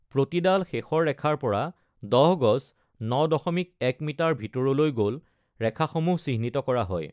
প্ৰতিডাল শেষৰ ৰেখাৰ পৰা ১০ গজ (৯.১ মিটাৰ) ভিতৰলৈ গ’ল ৰেখাসমূহ চিহ্নিত কৰা হয়।